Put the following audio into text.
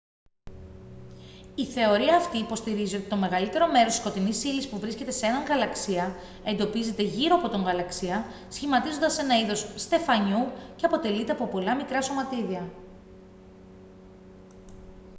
η θεωρία αυτή υποστηρίζει ότι το μεγαλύτερο μέρος της σκοτεινής ύλης που βρίσκεται σε έναν γαλαξία εντοπίζεται γύρω από τον γαλαξία σχηματίζοντας ένα είδος στεφανιού και αποτελείται από πολλά μικρά σωματίδια